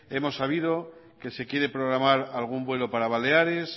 hemos sabido que se quiere programar algún vuelo para baleares